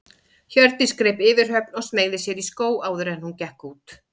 Hjördís greip yfirhöfn og smeygði sér í skó áður en hún gekk út.